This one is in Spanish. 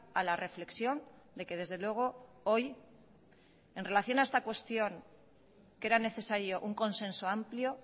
a la reflexión de que desde luego hoy en relación a esta cuestión que era necesario un consenso amplio